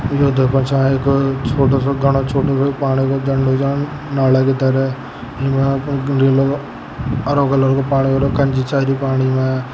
दो परछाई छोड़ छोटो सो घनो पानी का झरनों छ नाला की तरह यहां पर दूरी लगा हरों कलर को पानी छ कांजी चाल री पानी मे।